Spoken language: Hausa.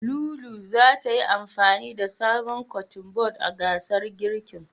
Lulu zata yi amfani da sabon Kotun bod a gasar girkin.